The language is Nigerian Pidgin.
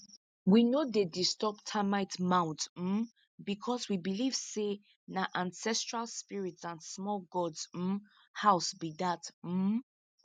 we no dey disturb termite mounds um because we believe say na ancestral spirits and small gods um house be dat um